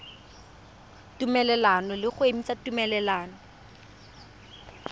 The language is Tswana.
tumelelano le go emisa tumelelano